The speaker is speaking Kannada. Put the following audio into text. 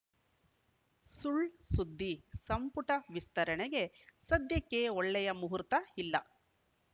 ಸುಳ್‌ ಸುದ್ದಿ ಸಂಪುಟ ವಿಸ್ತರಣೆಗೆ ಸದ್ಯಕ್ಕೆ ಒಳ್ಳೆಯ ಮುಹೂರ್ತ ಇಲ್ಲ